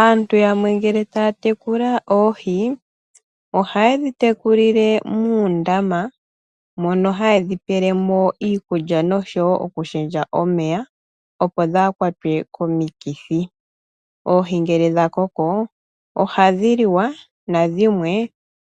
Aantu yamwe ngele taya tekula oohi, ohayedhi tekulile muundama mono hayedhi pelemo iikulya noshowo okushendja omeya opo kadhi kwatwe komikithi. Oohi ngele dha koko ohadhi liwa nadhimwe